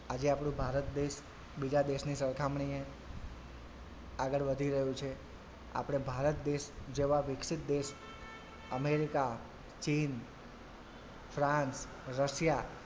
આજે આપડું ભારત દેશ બીજા દેશની સરખામણીએ આગળ વધી રહ્યું છે આપડે ભારત દેશ જેવાં વિકસિત દેશ અમેરિકા, ચીન ફ્રાંસ, રશિયા,